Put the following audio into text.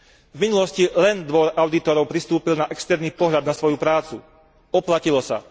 V minulosti len Dvor audítorov pristúpil na externý pohľad na svoju prácu oplatilo sa.